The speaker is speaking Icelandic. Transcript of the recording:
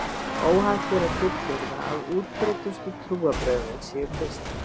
Óhætt er að fullyrða að útbreiddustu trúarbrögðin séu kristni.